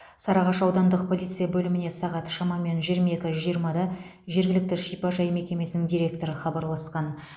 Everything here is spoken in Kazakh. сарыағаш аудандық полиция бөліміне сағат шамамен жиырма екі жиырмада жергілікті шипажай мекемесінің директоры хабарласқан